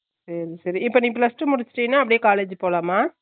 சேரிசேரி இப்ப நீ plus two முடிச்சுட்டினா அப்புடியே college போலாமா